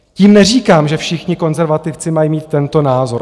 Tím neříkám, že všichni konzervativci mají mít tento názor.